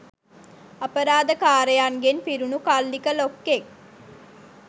අපරාධකාරයන්ගෙන් පිරුණු කල්ලික ලොක්කෙක්.